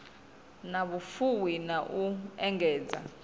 na vhufuwi na u engedza